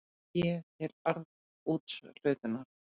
Fé til arðsúthlutunar.